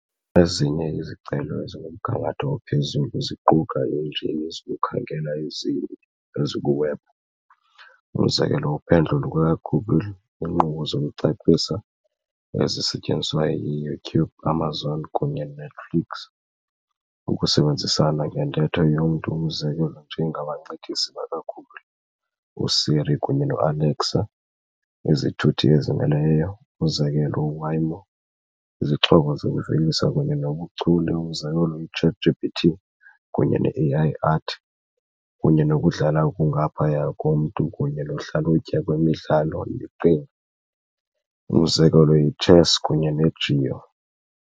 Ezinye izicelo ezikumgangatho ophezulu ziquka iinjini zokukhangela ezikwiwebhu, umzekelo, uPhendlo lukaGoogle, iinkqubo zokucebisa, ezisetyenziswa yiYouTube, Amazon, kunye Netflix, ukusebenzisana ngentetho yomntu, umzekelo, nje ngabancedisi bakaGoogle, uSiri, kunye ne-Alexa, izithuthi ezizimeleyo, umzekelo., Waymo, izixhobo zokuvelisa kunye nobuchule, umzekelo, i-ChatGPT kunye ne -AI art, kunye nokudlala okungaphaya komntu kunye nohlalutyo kwimidlalo yeqhinga, umzekelo, ichess kunye neGo .